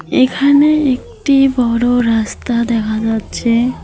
এখানে একটি বড় রাস্তা দেখা যাচ্ছে।